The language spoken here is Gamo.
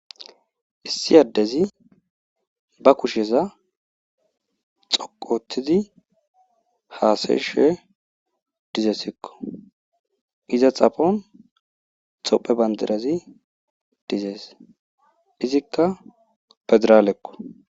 Issi addezi ba kusheza dhoqqu ooththidi haasayishe dizessikko iza xaphone tophe bandirazi dizees. Izikka fediralekko.